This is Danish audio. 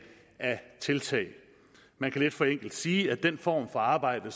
af tiltag man kan lidt forenklet sige at den form for arbejde